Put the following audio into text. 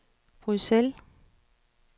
Bruxelles